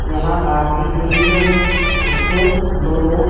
यहां कार दिख रही है उसको दो लोग--